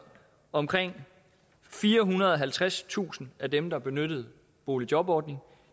omkring firehundrede og halvtredstusind af dem der benyttede boligjobordningen